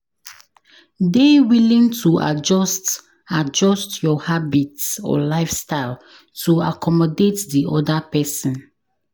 Dey willing to adjust adjust your habits or lifestyle to accomodate di oda person